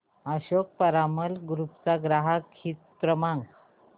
Ashok Piramal group चा ग्राहक हित क्रमांक